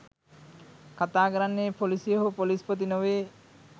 කතා කරන්නේ පොලිසිය හෝ පොලිස්පති නොවේ